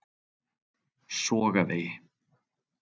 Sogavegi